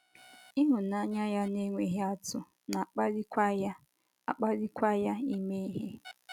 Ịhụnanya ya na - enweghị atụ na - akpalikwa ya - akpalikwa ya ime ihe.